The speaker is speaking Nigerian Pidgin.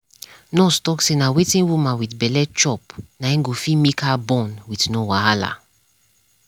nurse talk say na wetin woman wit belle chop na go fit make her born wit no wahala.